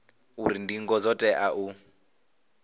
uri ndingo dzo tea u